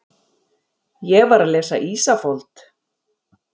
Ég var að lesa Ísafold.